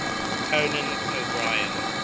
conan o brien